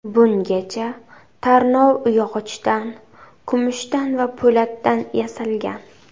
Bungacha tarnov yog‘ochdan, kumushdan va po‘latdan yasalgan.